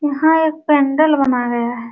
यहाँ एक पेंडल बना गया है।